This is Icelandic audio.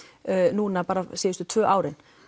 núna síðustu tvö árin